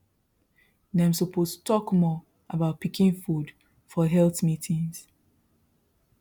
dem suppose talk more about pikin food for health meetings